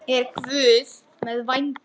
Mér leiðist það ósköp mikið.